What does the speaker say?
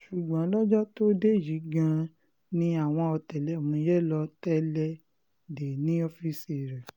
ṣùgbọ́n lọ́jọ́ tó dé yìí gan-an ni àwọn ọ̀tẹlẹ̀múyẹ́ lọ́ọ́ tẹ́lẹ̀ dé e ní ọ́ọ́fíìsì rẹ̀